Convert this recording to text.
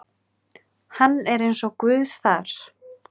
Hann er eins og Guð þar.